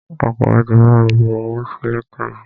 Akọ̀wé ti bami bu owó sí lẹ́tà yìí.